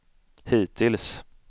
hittills